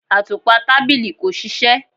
Atupa tabili ko ṣiṣẹ